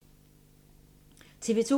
TV 2